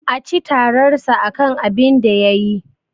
A ci tararsa akan abinda yayi.